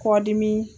Kɔdimi